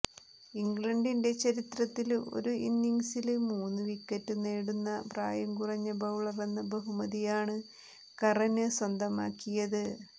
ഇംഗ്ലണ്ടിന്റെ ചരിത്രത്തില് ഒരു ഇന്നിങ്സില് മൂന്നു വിക്കറ്റ് നേടുന്ന പ്രായം കുറഞ്ഞ ബൌളറെന്ന ബഹുമതിയാണ് കറന് സ്വന്തമാക്കിയത്